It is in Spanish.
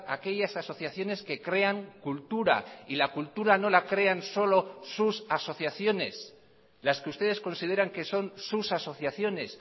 aquellas asociaciones que crean cultura y la cultura no la crean solo sus asociaciones las que ustedes consideran que son sus asociaciones